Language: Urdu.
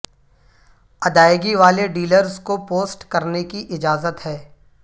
ادائیگی والے ڈیلرز کو پوسٹ کرنے کی اجازت ہے